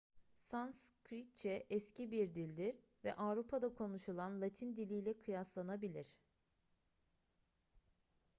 sanskritçe eski bir dildir ve avrupa'da konuşulan latin diliyle kıyaslanabilir